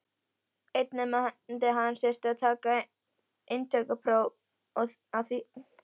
Einn nemandi hans þurfti að taka inntökupróf við þýskan háskóla.